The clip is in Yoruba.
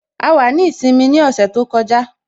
A wà ní ìsinmi ní ọ̀sẹ̀ tó kọjá